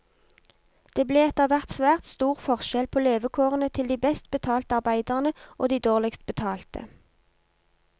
Det ble etterhvert svært stor forskjell på levekårene til de best betalt arbeiderne og de dårligst betalte.